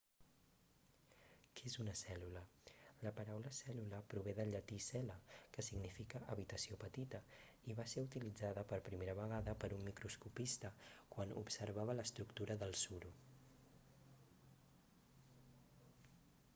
què és una cèl·lula la paraula cèl·lula prové del llatí cella que significa habitació petita i va ser utilitzada per primera vegada per un microscopista quan observava l'estructura del suro